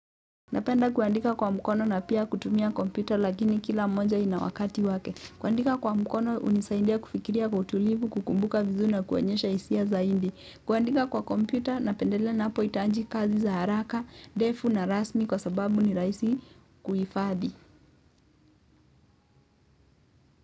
Napenda kuandika kwa mkono na pia kutumia kompyuta lakini kila mmoja ina wakati wake. Kuandika kwa mkono hunisaidia kufikiria kwa utulivu, kukumbuka vizuri na kuonyesha hisia zaidi. Kuandika kwa kompyuta napendelea ninapohitaji kazi za haraka, ndefu na rasmi kwa sababu ni rahisi kuhifadhi.